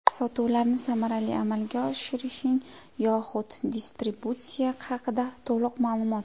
Sotuvlarni samarali amalga oshiring yoxud distributsiya haqida to‘liq ma’lumot.